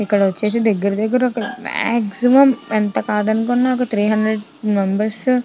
ఇక్కడ వచ్చేసి దగ్గర దగ్గర ఒక మాక్సిమం ఎంత కాదు అనుకున్న ఒక త్రి హండ్రెడ్ మెంబెర్స్ --